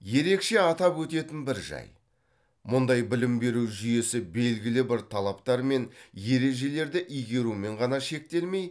ерекше атап өтетін бір жай мұндай білім беру жүйесі белгілі бір талаптар мен ережелерді игерумен ғана шектелмей